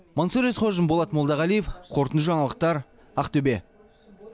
мансұр есқожин болат молдағалиев қорытынды жаңалықтар ақтөбе